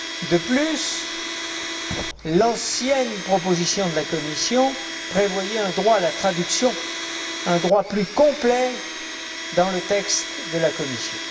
De plus, l'ancienne proposition de la Commission prévoyait un droit à la traduction, un droit plus complet dans le texte de la Commission.